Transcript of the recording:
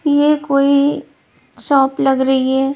ये कोई शॉप लग रही है।